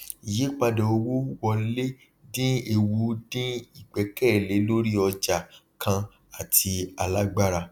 ìyípadà owó wọlé dín ewu dín igbẹkẹlé lórí ọjà kàn àti alágbára